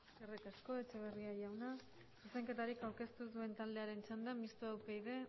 eskerrik asko etxeberria jauna zuzenketarik aurkeztu ez duen taldearen txanda mistoa upyd